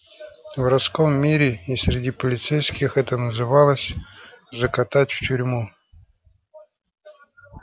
в воровском мире и среди полицейских это называлось закатать в тюрьму